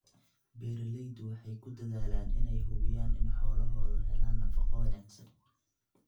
Beeraleydu waxay ku dadaalaan inay hubiyaan in xoolahoodu helaan nafaqo wanaagsan.